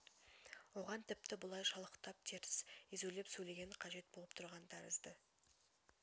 оған тіпті бұлай шалықтап теркс езулеп сөйлеген қажет болып тұрған тәрізді